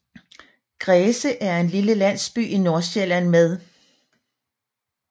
Græse er en lille landsby i Nordsjælland med